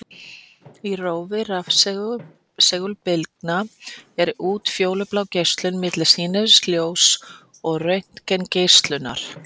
Í rófi rafsegulbylgna er útfjólublá geislun milli sýnilegs ljóss og röntgengeislunar.